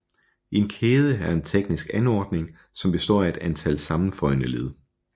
En kæde er en teknisk anordning som består af et antal sammenføjne led